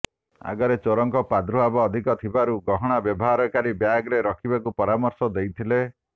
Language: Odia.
ଆାଗରେ ଚୋରଙ୍କ ପ୍ରାଦୁର୍ଭାବ ଅଧିକ ଥିବାରୁ ଗହଣା ବାହାରକରି ବ୍ୟାଗ୍ରେ ରଖିବାକୁ ପରାମର୍ଶ ଦେଇଥିଲେ